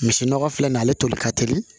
Misi nɔgɔ filɛ nin ye ale toli ka teli